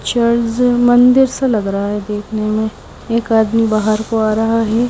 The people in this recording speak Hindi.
चर्च मंदिर सा लग रहा है देखने में एक आदमी बाहर को आ रहा है।